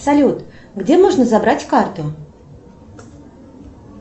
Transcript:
салют где можно забрать карту